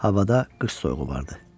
Havada qış soyuğu vardı.